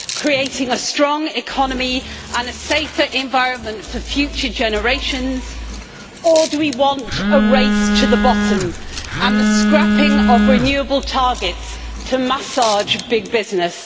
creating a strong economy and a safer environment for future generations, or do we want a race to the bottom and the scrapping of renewable targets to massage big business?